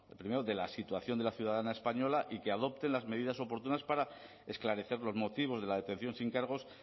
primero de la situación de la ciudadana española y que adopten las medidas oportunas para esclarecer los motivos de la detención sin cargos